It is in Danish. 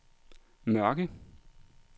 Mørke